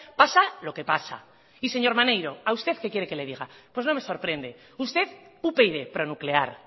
pasa lo que pasa y señor maneiro a usted qué quiere que le diga pues no me sorprende usted upyd pro nuclear